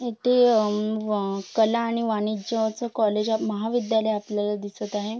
इथे अ म व कला आणि वाणिज्यच कॉलेज महाविद्यालय आपल्याला दिसत आहे.